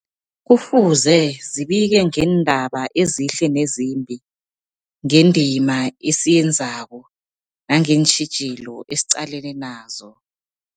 Kufuze zibike ngeendaba ezihle nezimbi, ngendima esiyenzako nangeentjhijilo esiqalene nazo.